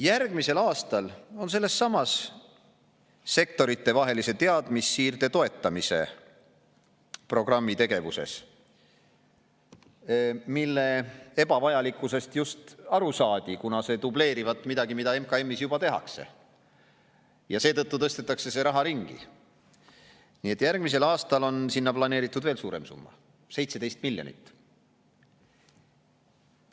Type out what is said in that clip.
Järgmisel aastal on sellesama sektoritevahelise teadmussiirde toetamise programmi tegevuseks, mille ebavajalikkusest just aru saadi, kuna see dubleerivat midagi, mida MKM‑is juba tehakse, ja seetõttu tõstetakse see raha ringi, veel suurem summa: 17 miljonit.